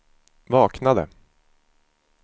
vaknade